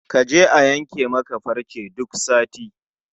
Kaje a yanke maka farce duk sati